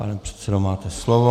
Pane předsedo, máte slovo.